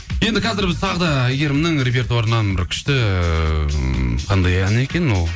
енді қазір біз тағы да әйгерімнің репертуарынан бір күшті ммм қандай ән екен ол